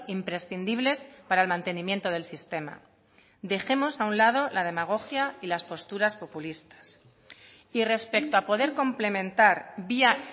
imprescindibles para el mantenimiento del sistema dejemos a un lado la demagogia y las posturas populistas y respecto a poder complementar vía